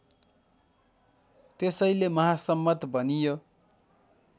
त्यसैले महासम्मत भनियो